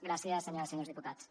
gràcies senyores i senyors diputats